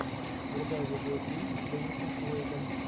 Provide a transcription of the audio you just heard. врубай видеофильм с деннисом куэйдом